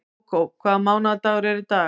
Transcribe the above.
Kókó, hvaða mánaðardagur er í dag?